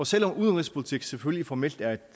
selv om udenrigspolitik selvfølgelig formelt er et